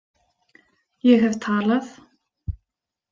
Ég hef talað